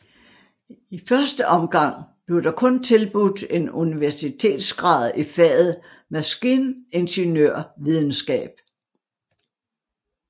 I første omgang blev der kun tilbudt en universitetsgrad i faget maskiningeniørvidenskab